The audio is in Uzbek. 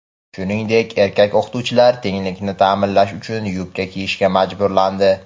shuningdek erkak o‘qituvchilar "tenglik"ni ta’minlash uchun yubka kiyishga majburlandi.